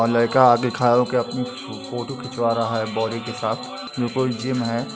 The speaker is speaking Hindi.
लड़का आगे खाड़ा होकर अपनी फोटो खिंचवा रहा है बॉडी के साथ। यह कोई जिम है।